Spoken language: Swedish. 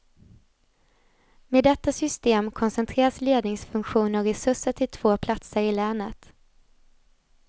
Med detta system koncentreras ledningsfunktioner och resurser till två platser i länet.